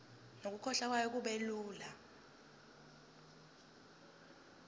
nokukhokhwa kwayo kubelula